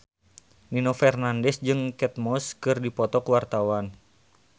Nino Fernandez jeung Kate Moss keur dipoto ku wartawan